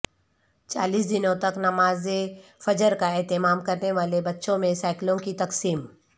چالیس دنوں تک نماز فجر کا اہتمام کرنے والے بچوں میں سیکلوں کی تقسیم